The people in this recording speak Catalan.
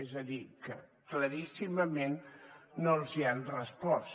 és a dir que claríssimament no els han respost